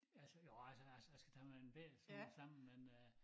Altså jo altså jeg jeg skal tage min en bette smule sammen men øh